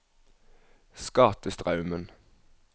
Skatestraumen